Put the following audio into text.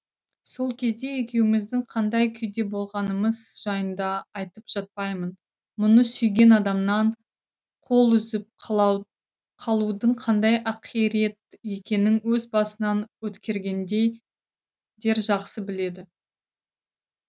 сол кезде екеуіміздің қандай күйде болғанымыз жайында айтып жатпаймын мұны сүйген адамынан қол үзіп қалудың қандай ақирет екенін өз басынан өткергендей дер жақсы біледі